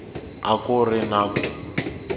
a ku ri na ku